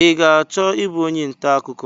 I ga-achọ ịbụ onye ntaakụkọ?